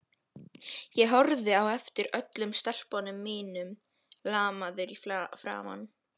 Ég horfði á eftir öllum stelpunum mínum, lamaður í framan.